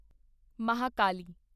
Mahakali